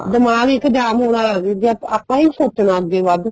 ਦਿਮਾਗ ਇੱਕ ਜਾਮ ਹੋਣ ਵਾਲਾ ਸੀ ਜੇ ਆਪਾਂ ਈ ਸੋਚਣਾ ਅੱਗੇ ਵੱਧ